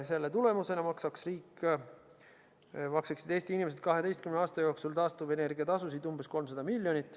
Selle tulemusena maksaks Eesti inimesed 12 aasta jooksul taastuvenergia tasusid umbes 300 miljonit.